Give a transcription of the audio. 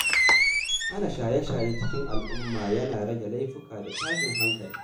Hana shaye-shaye a cikin al’umma yana rage laifuka da tashin hankali.